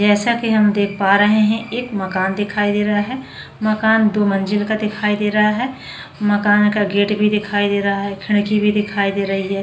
जैसा की हम देख पा रहे है एक मकान दिखाई दे रहा है मकान दो मंजिल का दिखाई दे रहा है मकान का गेट भी दिखाई दे रहा है खिडकी भी दिखाई दे रही है।